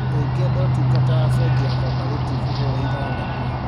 ũngĩenda ũtungata wa bengi ya cooperative hũra ithathatũ